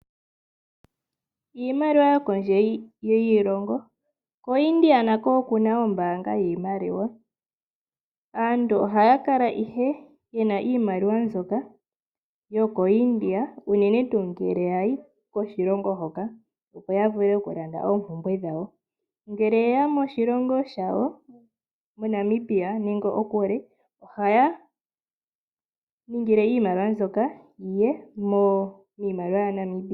Iimaliwa yokondje yiilongo. KoIndia nako oku na ombaanga yiimaliwa. Aantu ohaya kala ige ye na iimaliwa mbyoka yokoIndia, unene tuu ngele ya yi koshilongo hoka opo ya vule oku landa oompumbwe dhawo. Ngele yeya moshilongo shawo, moNamibia nenge okuli, ohaya ningile iimaliwa mbyoka yi ye miimaliwa yaNamibia.